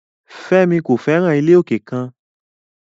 Femi ko fẹran ile oke kan